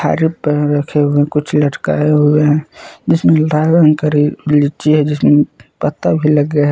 पेड़ रखे हुए हैं कुछ लटकाए हुए हैं जिसमें लाल रंग का रिल लीची है जिसमें पत्ता भी लगे हैं।